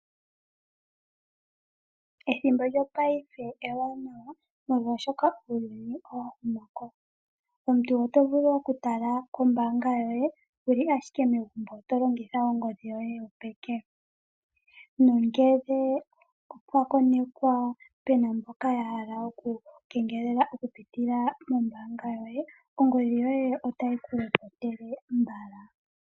Ethimbo lyongashingeyi ewanawa molwashoka uuyuni owa huma komeho. Omuntu oto vulu okutala kombaanga yoye wuli ashike megumbo to longitha ongodhi yoye yopeke. Nongele opwa konekwa pena mboka ya hala okukengelela okupitila mombaanga yoye ongodhi yoye otayi ku lopotele mbala.